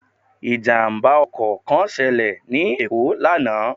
Ìjàmbá ọkò kán selè ní Èkó lánàá